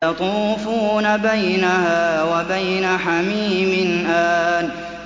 يَطُوفُونَ بَيْنَهَا وَبَيْنَ حَمِيمٍ آنٍ